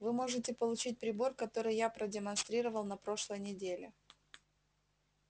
вы можете получить прибор который я продемонстрировал на прошлой неделе